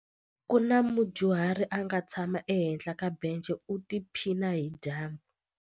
Ku na mudyuhari a nga tshama ehenhla ka bence u tiphina hi dyambu.